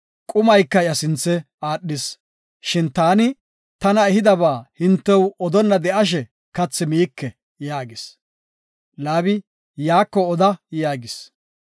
Kathi iya sinthe aadhis. Shin, “Taani tana ehidaba hintew odonna de7ashe kathi miike” yaagis. Laabi, “Yaako oda” yaagis.